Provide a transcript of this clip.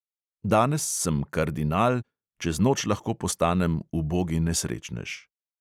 Danes sem kardinal, čez noč lahko postanem ubogi nesrečnež.